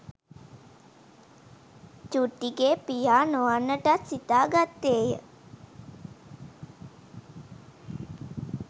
"චුට්ටිගේ පියා නො වන්නටත් සිතාගත්තේ ය